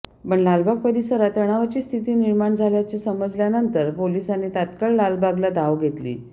पण लालबाग परिसरात तणावाची स्थिती निर्माण झाल्याचे समजल्यानंतर पोलिसांनी तात्काळ लालबागला धाव घेतली